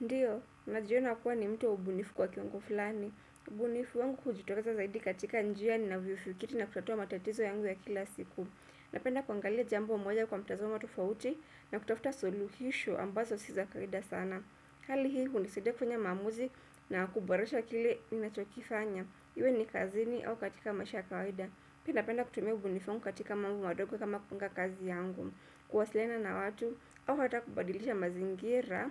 Ndiyo ninajiona kuwa mtu mbunifu kwa kiungo fulani ubunifu wangu hujitokeza zaidi katika njia na viufukiti na kutatua matatizo yangu ya kila siku. Napenda kuangalia jambo moja kwa mtazamo tofauti na kutafuta suluhisho ambazo si za kawaida sana. Hali hii, hunisaidia kufanya maamuzi na kuboresha kile ninachokifanya. Iwe ni kazini au katika maisha ya kawaida. Mimi napenda kutumia ubunifu wangu katika mambo madogo kama kupanga kazi yangu. Kuwasiliana na watu au hata kubadilisha mazingira